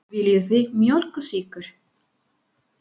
Viljið þið mjólk og sykur?